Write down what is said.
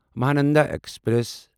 Mahananda express